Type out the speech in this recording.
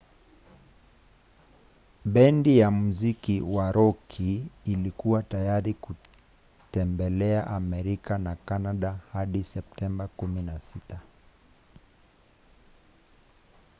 bendi ya muziki wa roki ilikuwa tayari kutembelea amerika na canada hadi septemba 16